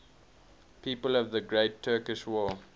people of the great turkish war